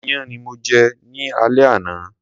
Iyán ni mo jẹ ní alé àná.